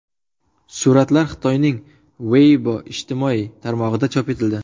Suratlar Xitoyning Weibo ijtimoiy tarmog‘ida chop etildi.